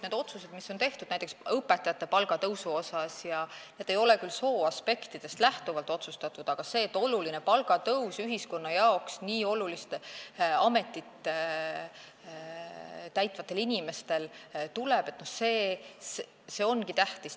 Need otsused, mis on tehtud näiteks õpetajate palga tõusu kohta, ei ole küll sooaspektist lähtunud, aga see, et ühiskonna jaoks nii olulist ametikohta täitvatel inimestel tuleb oluline palgatõus, ongi tähtis.